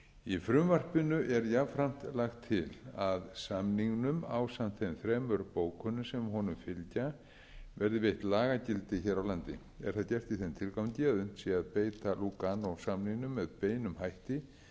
í frumvarpinu er jafnframt lagt til að samningnum ásamt þeim þremur bókunum sem honum fylgja verði veitt lagagildi hér á landi er það gert í þeim tilgangi að hægt sé að beita lúganósamningnum með beinum hætti